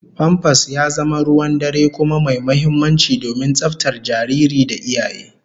Famfas ya zama ruwan dare kuma mai muhimmanci domin tsaftar jariri da iyaye